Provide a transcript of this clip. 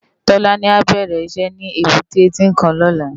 Tolani á bèrè iṣè ni ébùté Tinkán lòlá